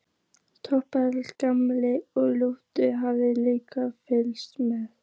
Trompetið, gamalt og lúið, hafði líka fylgt með.